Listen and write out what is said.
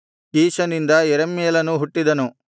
ಕೀಷನಿಂದ ಯೆರಹ್ಮೇಲನು ಹುಟ್ಟಿದನು